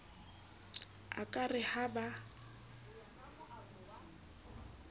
a ka re ha ba